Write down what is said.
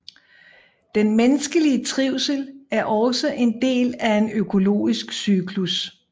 Den menneskelige trivsel er også en del af en økologisk cyklus